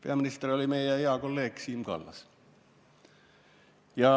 Peaminister oli meie hea kolleeg Siim Kallas.